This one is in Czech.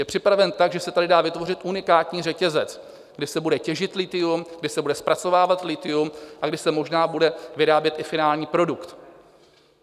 Je připraven tak, že se tady dá vytvořit unikátní řetězec, kde se bude těžit lithium, kde se bude zpracovávat lithium a kde se možná bude vyrábět i finální produkt.